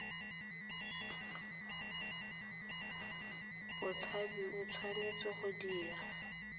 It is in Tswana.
motshabi o tshwanetse go dira